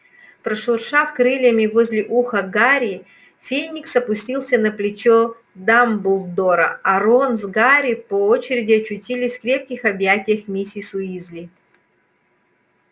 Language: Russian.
прошуршав крыльями возле уха гарри феникс опустился на плечо дамблдора а рон с гарри по очереди очутились в крепких объятиях миссис уизли